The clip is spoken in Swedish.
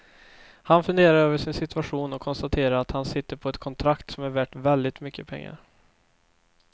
Han funderar över sin situation och konstaterar att han sitter på ett kontrakt som är värt väldigt mycket pengar.